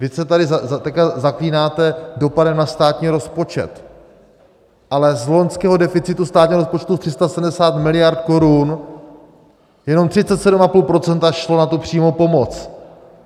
Vy se tady teď zaklínáte dopadem na státní rozpočet, ale z loňského deficitu státního rozpočtu 370 miliard korun jenom 37,5 % šlo na tu přímou pomoc.